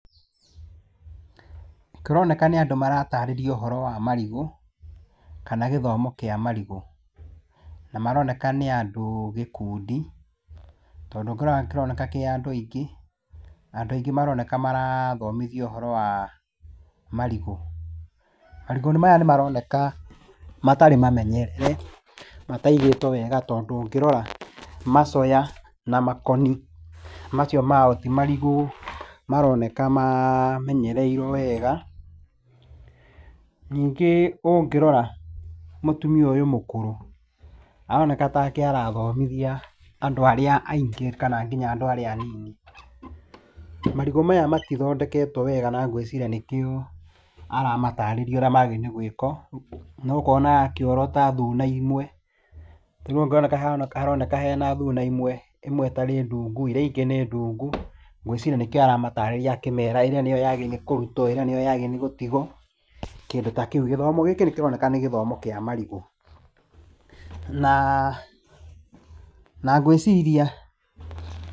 Kũroneka nĩ andũ maratarĩrio ũhoro wa marigũ, kana gĩthomo kĩa marigũ. Na maroneka nĩ andũ gĩkũndi, tondũ ũngĩrora kĩroneka kĩ andũ aingĩ na andũ aingĩ maroneka marathomithio ũhoro wa marigũ. Marigũ maya nĩ maroneka matarĩ mamenyerere, mataigĩtwo wega tondũ ũngĩrora macoya na makoni macio mao ti marigũ maroneka mamenyereirwo wega. Ningĩ ũngĩrora mũtumia ũyũ mũkũrũ aroneka tarĩke arathomithia andũ arĩa aingĩ kana andũ arĩa anini. Marigũ maya matithondeketwo wega na ngwĩciria nĩkĩo aramatarĩria ũrĩa magĩrĩirwo nĩ gwĩka, na ũkona akĩorota thuna imwe. Ta rĩu haroneka haroneka hena thuna imwe, ĩmwe ĩtarĩ ndungu iria ingĩ nĩ ndungu. Ngwĩciria nĩkĩo aramatarĩria akĩmera ĩrĩa nĩyo yagĩrĩirwo nĩ kũrutwo ĩrĩa nĩyo yagĩrĩirwo nĩgũtigwo kĩndũ ta kĩu. Gĩthomo gĩkĩ nikĩroneka nĩ gĩthomo kĩa marigũ na ngwĩciria...